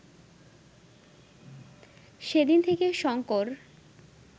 সেদিন থেকে শঙ্কর